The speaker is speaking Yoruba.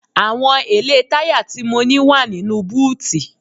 Àwọn èlé táyà tí mo ní wá nínú búùtì.